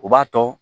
U b'a dɔn